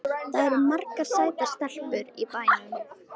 Það eru margar sætar stelpur í bænum.